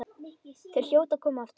Þau hljóta að koma aftur.